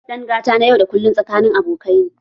Dangantaka na yau da kullun tsakanin abokai ne.